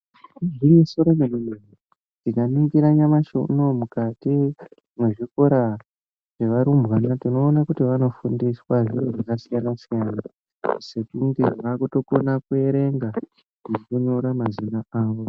Igwinyiso remene mene. Tikaningira nyamashi unowu mukati mwezvikora zvevarumbwana tinoona kuti vanofundiswa zviro zvakasiyana siyana sekunge vakutokona kuerenga nekunyora mazina awo.